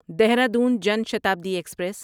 Dehradun Jan Shatabdi express